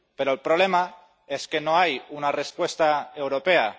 Pero el problema es que no hay una respuesta europea.